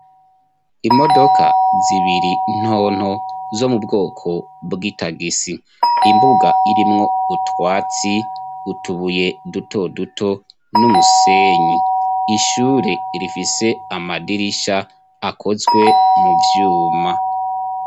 Imodoka zibiri ntonto, zo mubwoko bw'itagisi, imbuga irimwo utwatsi, utubuye dutoduto n'umusenyi, ishure rifise amadirisha akozwe mu vyuma.